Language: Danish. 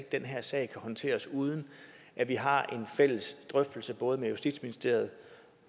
den her sag kan håndteres uden at vi har en fælles drøftelse både med justitsministeriet